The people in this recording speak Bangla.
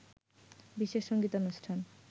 বিশেষ সঙ্গীতানুষ্ঠান